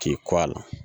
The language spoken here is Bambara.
K'i kɔ a la